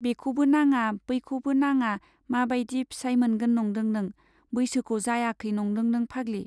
बेखौबो नाङा, बैखौबो नाङा मा बाइदि फिसाइ मोनगोन नंदों नों ? बैसोखौ जायाखै नंदों नों फाग्लि ?